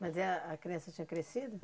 Mas é a criança tinha crescido?